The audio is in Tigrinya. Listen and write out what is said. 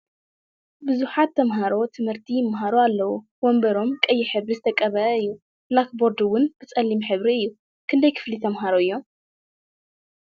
ብዙሓት ተሞሃሮ ትምህርቲ ይመሃሩ ኣለዉ ወንበሮም ቀይሕ ሕብሪ ዝተቀበአ እዩ ብላክ ቦርድ እውን ብፀሊም ሕብሪ እዩ። ክንደይ ክፍሊ ተመሃሮ እዮም ?